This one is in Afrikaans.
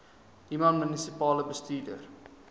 human munisipale bestuurder